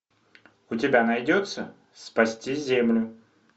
у тебя найдется спасти землю